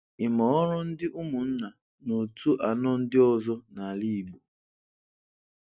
Ị ma ọrụ ndị ụmụnna na otu anọ ndị ọzọ n'ala Igbo?